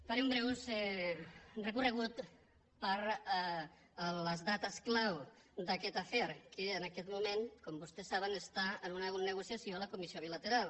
faré un breu recorregut per les dates clau d’aquest afer que en aquest moment com vostès saben està en una negociació a la comissió bilateral